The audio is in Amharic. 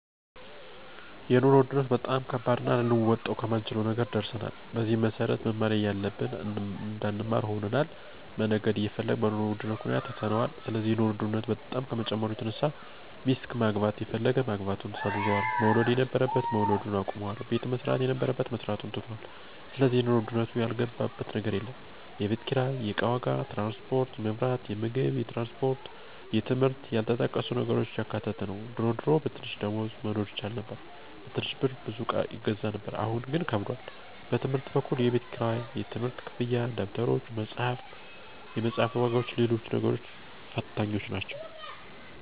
የኑሮ ውድነቱ በጣም ከባድና ልንወጣው ከማንችለው ነገር ደርሰናል። በዚህም መሰረት መማር እያለብን እንዳንማር ሆነናል፣ መነገድ እየፈለግን በኑሮ ውድነቱ ምክንያት ትተነዋል ስለዚህ የኑሮ ውድነቱ በጣም ከመጨመሩ የተነሳ ሚስት ማግባት የፈለገ ማግባቱን ሰርዟል፣ መውለድ የነበረበት መውለድ አቁሟል፣ ቤት መስራት የነበረበት መስራቱን ትቶታል ስለዚህ የኑሮ ውድነቱ ያልገባበት ነገር የለም፣ የቤት ኪራይ፣ የእቃ ዋጋ፣ ትራንስፖርት፣ የመብራት፣ የምግብ የትምህርት እና ያልተጠቀሱ ነገሮችን ያካተተ ነው ድሮ ድሮ በትንሽ ደሞዝ መኖር ይቻል ነበር በትንሽ ብር ብዙ እቃ ይገዛ ነበር አሁን ግን ከብዷል። በትምህርት በኩል የቤት ክራይ፣ የትምህርት ክፍያ፣ ደብተሮች፣ የመፅሐፍ ዋጋዎችና ሎሎችም ነገሮች ፈታኞች ናቸው።